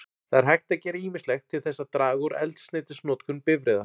Það er hægt að gera ýmislegt til þess að draga úr eldsneytisnotkun bifreiða.